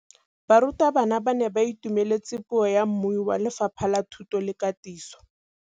Barutabana ba ne ba itumeletse puô ya mmui wa Lefapha la Thuto le Katiso.